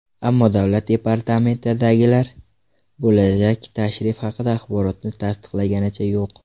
Ammo davlat departamentidagilar bo‘lajak tashrif haqidagi axborotni tasdiqlaganicha yo‘q.